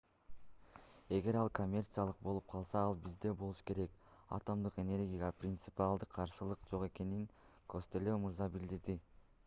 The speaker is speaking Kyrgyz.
эгер ал коммерциялык болуп калса ал бизде болушу керек атомдук энергияга принципиалдык каршылык жок экенин костелло мырза билдирди